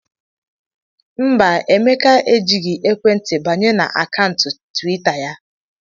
Mba, Emeka ejighị ekwentị m banye na akaụntụ twita ya.